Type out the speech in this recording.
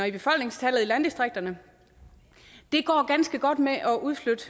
i befolkningstallet i landdistrikterne det går ganske godt med at udflytte